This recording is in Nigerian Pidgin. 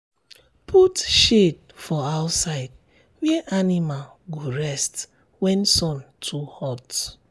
put shade for outside where animal go rest when sun too hot.